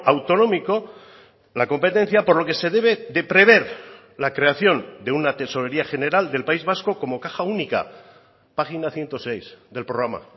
autonómico la competencia por lo que se debe de prever la creación de una tesorería general del país vasco como caja única página ciento seis del programa